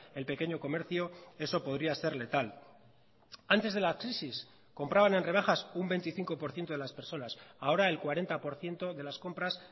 el pequeño comercio eso podría ser letal antes de la crisis compraban en rebajas un veinticinco por ciento de las personas ahora el cuarenta por ciento de las compras